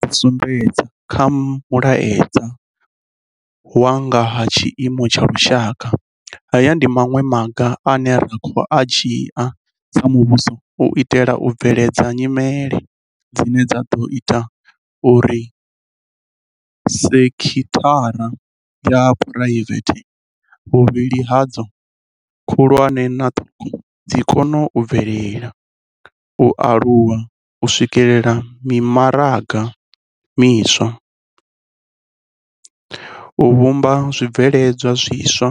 Sa zwe nda zwi sumbedza kha Mulaedza wa nga ha Tshiimo tsha Lushaka, haya ndi maṅwe a maga ane ra khou a dzhia sa muvhuso u itela u bveledza nyimele dzine dza ḓo ita uri sekithara dza phuraivete vhuvhili hadzo, khulwane na ṱhukhu dzi kone u bvelela, u aluwa, u swikela mimaraga miswa, u vhumba zwibveledzwa zwiswa,